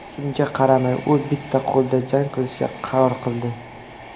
Shunga qaramay, u bitta qo‘lda jang qilishga qaror qildi.